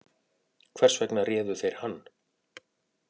Hvers vegna réðu þeir hann